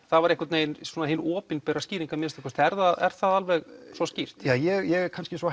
það var einhvern veginn hin opinbera skýring að minnsta kosti er það er það alveg svo skýrt ég er kannski svo